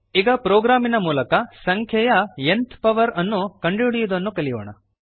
ಈಗ ಪ್ರೋಗ್ರಾಮಿನ ಮೂಲಕ ಸಂಖ್ಯೆಯ ನ್ತ್ ಪವರ್ ಎನ್ಥ್ ಪವರ್ ಅನ್ನು ಕಂಡುಹಿಡಿಯುವುದನ್ನು ಕಲಿಯೋಣ